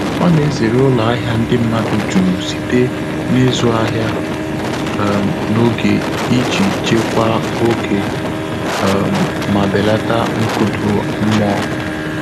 Ọ́ nà-èzéré ụ́lọ́ áhị́à ndị́ mmàdụ̀ jùrù sìté n’ị́zụ́ áhị́à um n’ógè ìjí chèkwáá ògé um mà bèlàtà nkụ́dà mmụ́ọ́.